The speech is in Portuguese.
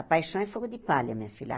A paixão é fogo de palha, minha filha.